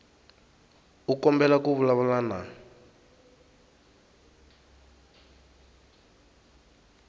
u kombela ku vulavula na